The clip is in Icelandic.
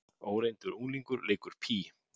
Óreyndur unglingur leikur Pí